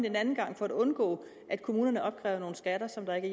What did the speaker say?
en anden gang for at undgå at kommunerne opkræver nogle skatter som der ikke